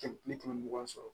Kɛmɛ ni kɛmɛ mugan sɔrɔ